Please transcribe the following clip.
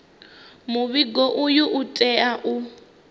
muvhigo uyu u tea u